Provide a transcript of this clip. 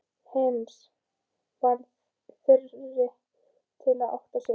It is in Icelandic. Heinz varð fyrri til að átta sig.